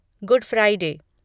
good Friday